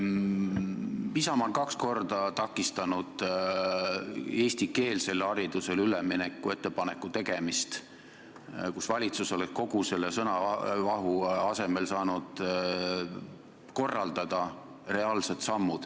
Isamaa on kaks korda takistanud eestikeelsele haridusele ülemineku ettepaneku tegemist, valitsus oleks kogu selle sõnavahu asemel saanud korraldada reaalseid samme.